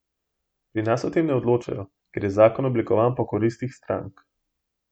Pri nas o tem ne odločajo, ker je zakon oblikovan po koristih strank.